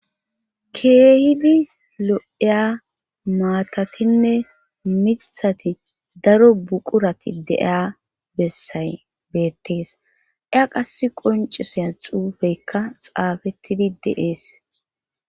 Keehidi lo'eya maatatinne mithati daro buqurati deeya bessay beettees. A qasika qoncissiya xuufeyikka xaafettidi dees.